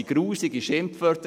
Es fielen wüste Schimpfworte.